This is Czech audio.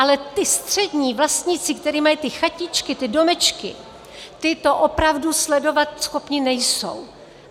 Ale ti střední vlastníci, kteří mají ty chatičky, ty domečky, ti to opravdu sledovat schopni nejsou.